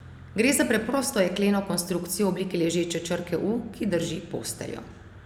Gre za preprosto jekleno konstrukcijo v obliki ležeče črke U, ki drži posteljo.